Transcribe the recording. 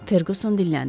Ferquson dilləndi.